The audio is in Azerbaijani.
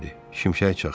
Şimşək çaxdı.